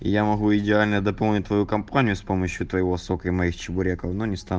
я могу идеально дополнить твою компанию с помощью твоего сока и моих чебуреков но не ста